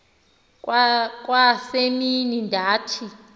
kwa semini ndathi